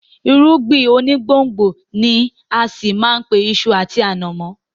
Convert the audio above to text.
Irúgbìn onígbòǹgbò ni á ṣì má a pe iṣu àti ànàmọ́